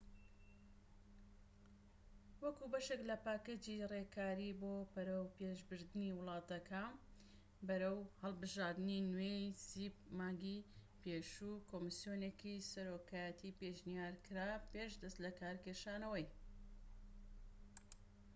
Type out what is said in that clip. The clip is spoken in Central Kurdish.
مانگی پێشوو کۆمسیۆنێکی سەرۆکایەتی پێشنیار کرا پێش دەست لەکارکێشانەوەی cep وەکو بەشێك لە پاکێجی ڕێکاری بۆ بەرەوپێشبردنی وڵاتەکە بەرەو هەڵبژاردنی نوێ